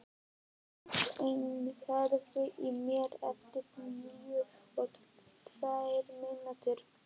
Brynsteinn, heyrðu í mér eftir níutíu og tvær mínútur.